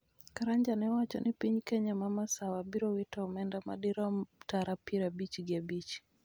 Karanja ne owacho ni piny Kenya ma masawa biro wito omenda madirom tara piero abich gi abich